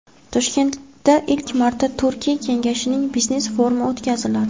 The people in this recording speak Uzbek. Toshkentda ilk marta Turkiy kengashning biznes forumi o‘tkaziladi.